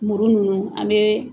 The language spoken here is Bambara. Muru ninnu, an bɛ